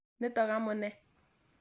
Nitok amune.